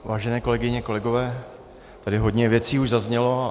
Vážené kolegyně, kolegové, tady hodně věcí už zaznělo.